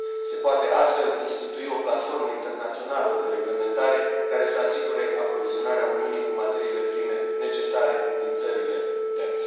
Se poate astfel institui o platformă internațională de reglementare, care să asigure aprovizionarea Uniunii cu materiile prime necesare din țările terțe.